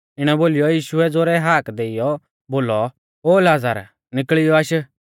इणौ बोलीयौ यीशुऐ ज़ोरै हाका देइयौ बोलौ ओ लाज़र निकल़ियौ आश